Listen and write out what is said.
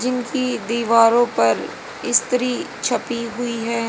जिनकी दीवारों पर स्त्री छुपी हुई हैं।